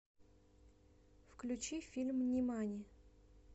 включи фильм нимани